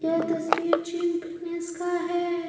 यह तस्वीर gym fitness का है।